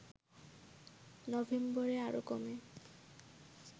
নভেম্বরে আরো কমে